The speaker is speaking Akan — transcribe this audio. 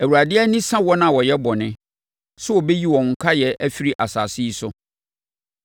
Awurade ani sa wɔn a wɔyɛ bɔne, sɛ ɔbɛyi wɔn nkaeɛ afiri asase yi so.